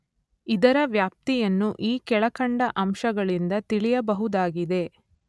ಇದರ ವ್ಯಾಪ್ತಿಯನ್ನು ಈ ಕೆಳಕಂಡ ಅಂಶಗಳಿಂದ ತಿಳಿಯಬಹುದಾಗಿದೆ.